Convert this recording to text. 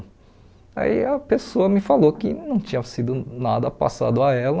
Aí a pessoa me falou que não tinha sido nada passado a ela,